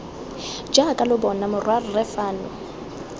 jaaka lo bona morwarre fano